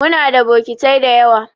Muna da bokitai dayawa.